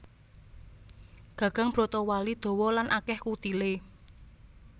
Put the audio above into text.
Gagang brotowali dawa lan akèh kutilé